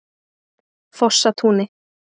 Fossatúni